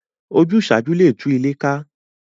Ojúsàájú le tú ilé ká